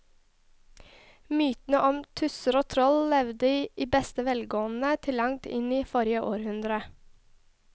Mytene om tusser og troll levde i beste velgående til langt inn i forrige århundre.